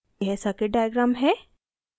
यह circuit diagram है